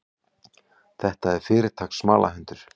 Þetta er fyrirtaks smalahundur.